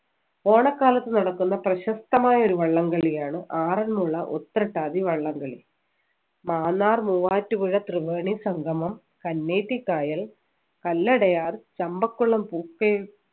ഓണക്കാലത്ത് നടക്കുന്ന പ്രശസ്തമായ ഒരു വള്ളംകളിയാണ് ആറന്മുള ഉത്രട്ടാതി വള്ളംകളി മാന്നാർ മൂവാറ്റുപുഴ ത്രിവേണി സംഗമം കന്നേറ്റി കായൽ കല്ലടയാർ ചമ്പക്കുളം പൂക്കെ